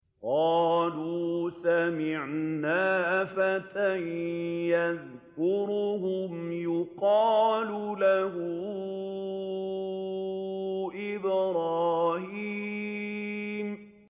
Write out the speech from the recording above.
قَالُوا سَمِعْنَا فَتًى يَذْكُرُهُمْ يُقَالُ لَهُ إِبْرَاهِيمُ